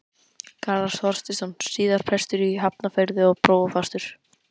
Garðar Þorsteinsson, síðar prestur í Hafnarfirði og prófastur.